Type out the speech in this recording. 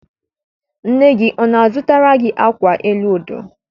Nne gị ọ na-azụtara gị akwa elu odo?